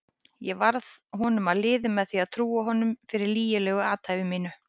Ég varð honum að liði með því að trúa honum fyrir lygilegu athæfi mínu.